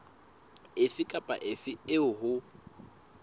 efe kapa efe eo ho